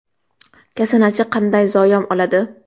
Kasanachi qanday zayom oladi?.